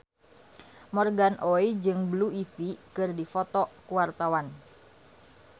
Morgan Oey jeung Blue Ivy keur dipoto ku wartawan